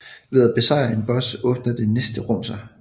Ved at besejre en boss åbner det næste rum sig